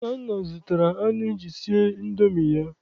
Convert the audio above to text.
Nnanna zụtara anụ iji sie Indomi ya.